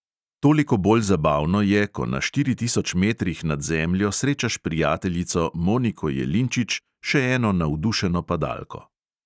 Toliko bolj zabavno je, ko na štiri tisoč metrih nad zemljo srečaš prijateljico moniko jelinčič, še eno navdušeno padalko.